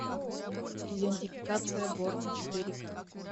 идентификация борна четыре к